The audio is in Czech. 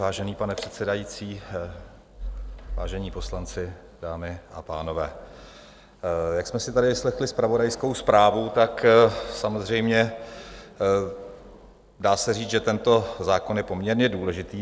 Vážený pane předsedající, vážení poslanci, dámy a pánové, jak jsme si tady vyslechli zpravodajskou zprávu, tak samozřejmě dá se říct, že tento zákon je poměrně důležitý.